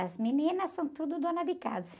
As meninas são tudo dona de casa.